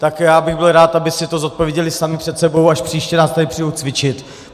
Tak já bych byl rád, aby si to zodpověděli sami před sebou, až příště nás tady přijdou cvičit.